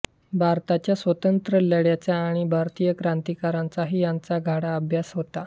भारताच्या स्वातंत्र्यलढ्याचा आणि भारतीय क्रांतिकारकांचाही त्यांचा गाढा अभ्यास होता